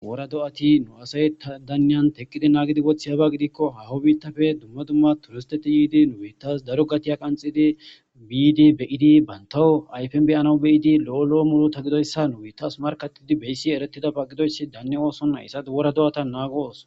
wora do7ati nu asay ta daniyan teqqidi naagidi wothi haba gidikko hawo biittafe dumma dumma turisteti yiidi nuwiitas daro gatiya qanxidi biidi beyidi bantawo ayfen beyanau beyidi lo7o lo7o mulo ta gidoyssa nuwitas markattidi beyssi erettida pagidoyssi danni oosonna issadi wora do7ata naago ooso